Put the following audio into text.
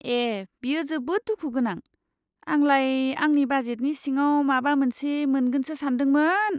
ए, बेयो जोबोद दुखु गोनां। आंलाय आंनि बाजेटनि सिङाव माबा मोनसे मोनगोनसो सानदोंमोन!